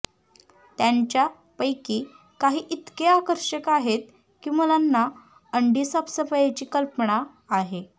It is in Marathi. त्यांच्यापैकी काही इतके आकर्षक आहेत की मुलांना अंडी साफसफाईची कल्पना आहे